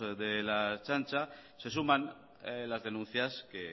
de la ertzaintza se suman las denuncias que